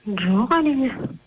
жоқ әрине